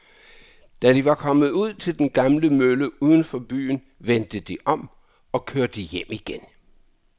Da de var kommet ud til den gamle mølle uden for byen, vendte de om og kørte hjem igen.